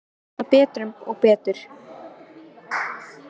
Það sáu menn alltaf betur og betur.